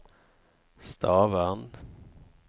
Stavern